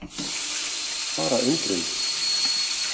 Bara undrun.